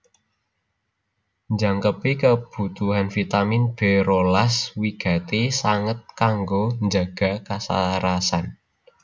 Njangkepi kabutuhan vitamin B rolas wigati sanget kanggo njaga kasarasan